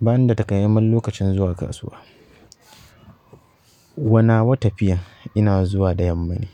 Ba ni da takamaiman lokacin zuwa kasuwa. Wa nawa tafiya ina zuwa da yamma ne,